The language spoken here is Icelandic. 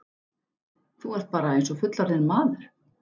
Þú ert bara eins og fullorðinn maður!